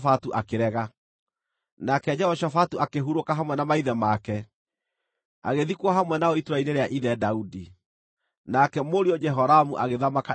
Nake Jehoshafatu akĩhurũka hamwe na maithe make, agĩthikwo hamwe nao itũũra-inĩ rĩa ithe Daudi. Nake mũriũ Jehoramu agĩthamaka ithenya rĩake.